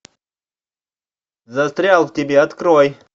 застрял в тебе открой